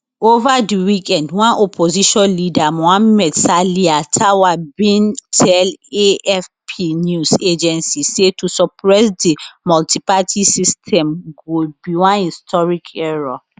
over di weekend one opposition leader mohamed salia tour bin tell afp news agency say to suppress di multiparty system go be one historic error